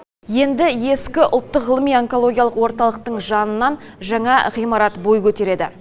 енді ескі ұлттық ғылыми онкологиялық орталықтың жанынан жаңа ғимарат бой көтереді